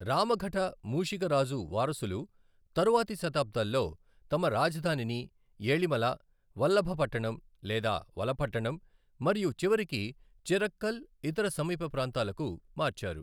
రామఘట మూషిక రాజు వారసులు తరువాతి శతాబ్దాల్లో తమ రాజధానిని ఎళిమల, వల్లభపట్టణం లేదా వలపట్టణం మరియు చివరికి చిరక్కల్, ఇతర సమీప ప్రాంతాలకు మార్చారు.